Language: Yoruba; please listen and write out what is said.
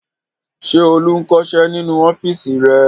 Ṣé Olú ń kọṣẹ́ nínú ọ́fíísì rẹ̀?